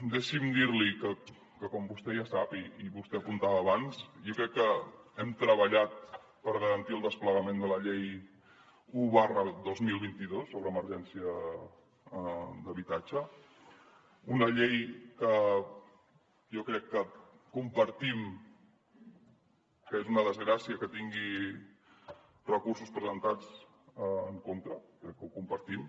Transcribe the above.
deixi’m dir li que com vostè ja sap i vostè apuntava abans jo crec que hem treballat per garantir el desplegament de la llei un dos mil vint dos sobre emergència d’habitatge una llei que jo crec que compartim que és una desgràcia que tingui recursos presentats en contra crec que ho compartim